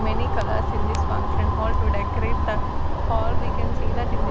many colours in this function hall to decorate the hall we can see that in the--